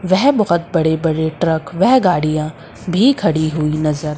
वह बहुत बड़े बड़े ट्रक वह गाड़ियां भी खड़ी हुई नजर--